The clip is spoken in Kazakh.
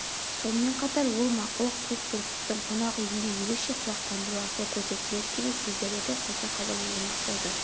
сонымен қатар ол мақұлық көк бүркіттің қонақ үйінде ерекше құлақтандыру арқылы көрсетіледі деген сөздерді де қоса хабарландырмақ болды